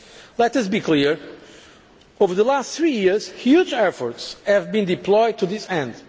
Let us be clear over the last three years huge efforts have been deployed to this